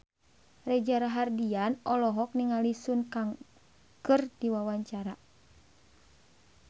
Reza Rahardian olohok ningali Sun Kang keur diwawancara